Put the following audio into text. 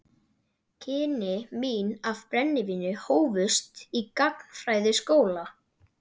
Kynni mín af brennivíni hófust í gagnfræðaskóla.